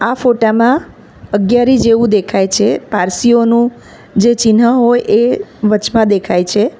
આ ફોટા માં અગિયારી જેવું દેખાય છે પારસીઓનું જે ચિન્હ હોય એ વચમાં દેખાય છે.